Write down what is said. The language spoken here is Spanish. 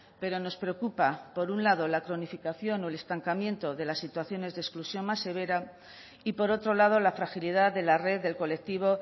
pero nos preocupa por un lado la cronificación o el estancamiento de las situaciones de exclusión más severa y por otro lado la fragilidad de la red del colectivo